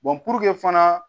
puruke fana